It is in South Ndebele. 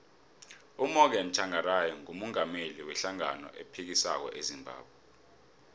umorgan tshangari ngumungameli we hlangano ephikisako ezimbabwe